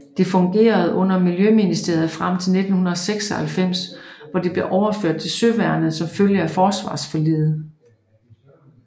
Det fungerede under miljøministeriet frem til 1996 hvor det blev overført til Søværnet som følge af forsvarsforliget